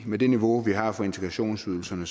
med det niveau vi har for integrationsydelsen